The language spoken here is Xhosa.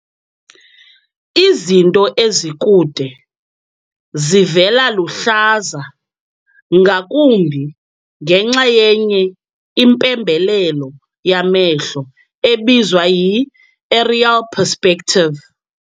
Izinto ezikude zivela luhlaza ngakumbi ngenxa yenye impembelelo yamehlo ebizwa yi-aerial perspective.